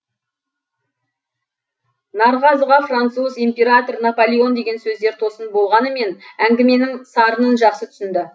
нарғазыға француз император наполеон деген сөздер тосын болғанымен әңгіменің сарынын жақсы түсінді